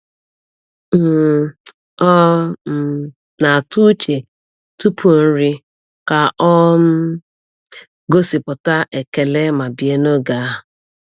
um Ọ um na-atụ uche tupu nri ka ọ um gosipụta ekele ma bie n’oge ahụ.